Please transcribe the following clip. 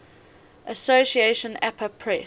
association apa press